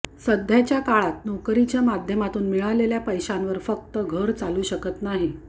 सध्याच्या काळात नोकरीच्या माध्यमातून मिळालेल्या पैशांवर फक्त घर चालू शकत नाही